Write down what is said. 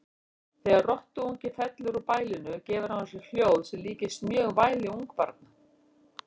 Þegar rottuungi fellur úr bælinu gefur hann frá sér hljóð sem líkist mjög væli ungbarna.